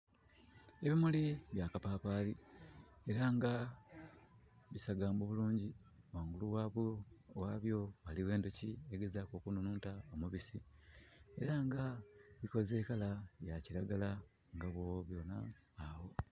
Ebimuli bya kapapali era nga bisagambu bulungi. Wangulu wabyo waliwo enduki eri kugezaku okunununta omubisi. Era nga bikoze kala ya kiragala nga bwona awo